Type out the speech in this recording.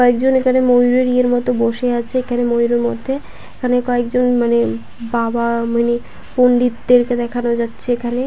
কয়েকজন এখানে ময়ূরের ইয়ের মতো বসে আছে এখানে ময়ূরের মধ্যে এখানে কয়েকজন মানে বাবা মানে পন্ডিতদের কে দেখানো যাচ্ছে এখানে।